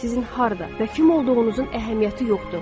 Sizin harda və kim olduğunuzun əhəmiyyəti yoxdur.